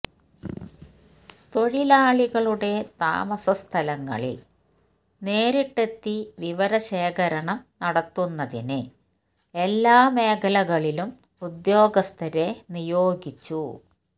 തൊഴിലാളികളുടെ താമസസ്ഥലങ്ങളില് നേരിട്ടെത്തി വിവരശേഖരണം നടത്തുന്നതിന് എല്ലാ മേഖലകളിലും ഉദ്യോഗസ്ഥരെ നിയോഗിച്ചു